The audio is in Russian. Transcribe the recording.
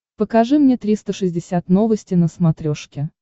покажи мне триста шестьдесят новости на смотрешке